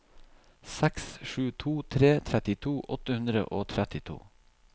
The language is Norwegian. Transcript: seks sju to tre trettito åtte hundre og trettito